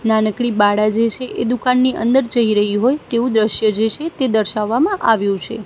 નાનકડી બાળા જે છે એ દુકાનની અંદર જઈ રહી હોય તેવું દ્રશ્ય જે છે તે દર્શાવવામાં આવ્યું છે.